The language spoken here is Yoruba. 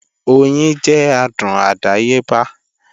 Oyin jẹ́ adùn àdáyébá